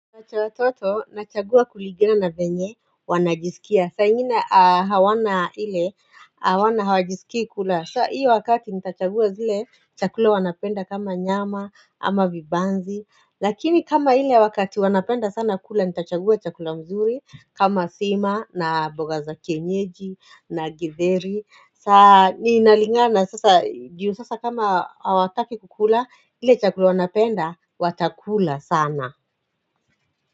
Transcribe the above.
Wacha wa toto, nachagua kuligana na venye, wanajisikia, saa ingina hawana ile, hawana hawajiskii kula, sa hiyo wakati nitachagua zile, chakula wanapenda kama nyama, ama vibanzi, lakini kama ile wakati wanapenda sana kula, nitachagua chakula mzuri, kama sima, na boga za kienyeji, na githeri, saa ninalingana sasa, juu sasa kama hawataki kukula, ile chakula wanapenda, watakula sana.